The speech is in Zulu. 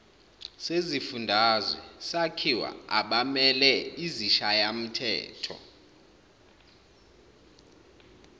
sezifundazwe sakhiwa abameleizishayamthetho